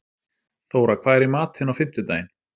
Þóra, hvað er í matinn á fimmtudaginn?